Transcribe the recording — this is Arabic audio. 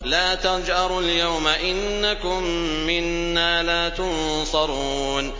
لَا تَجْأَرُوا الْيَوْمَ ۖ إِنَّكُم مِّنَّا لَا تُنصَرُونَ